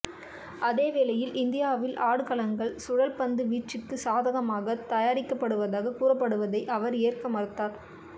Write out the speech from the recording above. அதேவேளையில் இந்தியாவில் ஆடுகளங்கள் சுழல்பந்துவீச்சுக்கு சாதகமாக தயாரிக்கப்படுவதாக கூறப்படுவதை அவர் ஏற்க மறுத்தார்